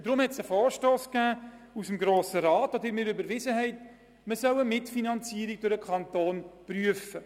Der Grosse Rat hat einen Vorstoss überwiesen und damit den Auftrag erteilt, die Mitfinanzierung der Ferienbetreuung von Kindern durch den Kanton zu prüfen.